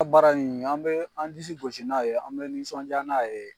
A baara nin an bɛ an disi gosi n'a ye an bɛ nisɔndiya n'a ye.